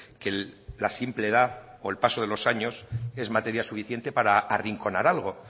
que la simple edad o el paso de los años es materia suficiente para arrinconar algo